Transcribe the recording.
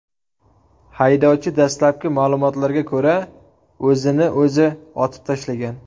Haydovchi, dastlabki ma’lumotlarga ko‘ra, o‘zini o‘zi otib tashlagan.